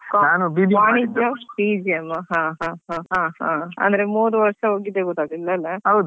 BBM ಹ ಹ ಹ ಹಾ ಅಂದ್ರೆ ಮೂರ್ ವರ್ಷ ಹೋಗಿದ್ದೇ ಗೊತ್ತಾಗ್ಲಿಲ್ಲ ಅಲ್ಲ.